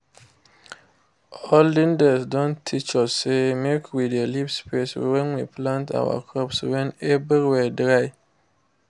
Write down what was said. olden days don teach us say make we dey leave space when we plant our crops when everywhere dry